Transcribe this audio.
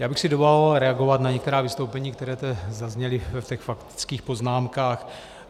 Já bych si dovolil reagovat na některá vystoupení, která tu zazněla ve faktických poznámkách.